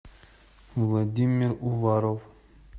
владимир уваров